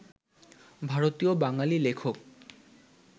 ভারতীয় বাঙালি লেখক